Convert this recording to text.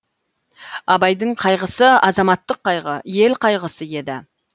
абайдың қайғысы азаматтық қайғы ел қайғысы еді